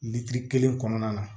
Lili kelen kɔnɔna na